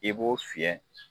I b'o fiyɛ